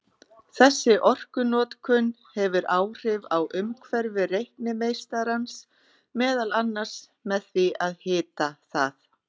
Þessi orkunotkun hefur áhrif á umhverfi reiknimeistarans, meðal annars með því að hita það.